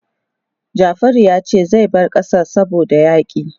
Jafaru ya ce zai bar ƙasar saboda yaƙi.